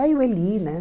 Aí o Eli, né?